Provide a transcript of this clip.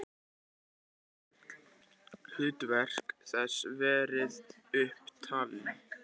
Ekki hafa þó öll hlutverk þess verið upp talin.